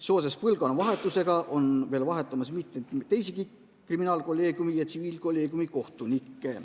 Seoses põlvkonnavahetusega on meil vahetumas mitmeid teisigi kriminaalkolleegiumi ja tsiviilkolleegiumi kohtunikke.